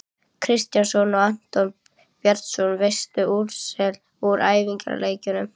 Kristjánsson og Anton Bjarnason.Veistu úrslit úr æfingaleikjum?